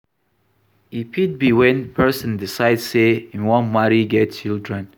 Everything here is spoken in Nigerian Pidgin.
E fit be when person decide sey im wan marry get children